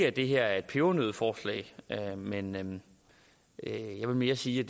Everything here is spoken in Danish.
at det her er et pebernøddeforslag men jeg vil mere sige